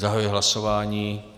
Zahajuji hlasování.